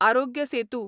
Aarogya Setu